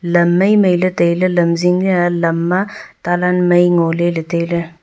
lam mi mi ley tai ley lam jing ley ya lam ma talang mai ngo ley tai ley.